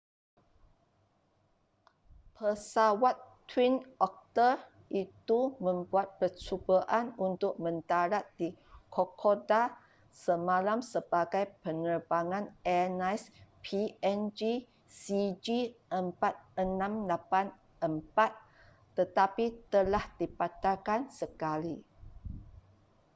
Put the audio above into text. pesawat twin otter itu membuat percubaan untuk mendarat di kokoda semalam sebagai penerbangan airlines png cg4684 tetapi telah dibatalkan sekali